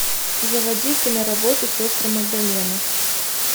заводи киноработу сестры магдалины